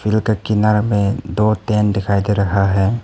दो ठो किनार में दो टैंट दिखाई दे रहा है।